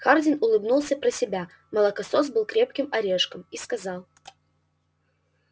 хардин улыбнулся про себя молокосос был крепким орешком и сказал